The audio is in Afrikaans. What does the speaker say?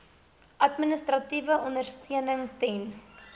administratiewe ondersteuning ten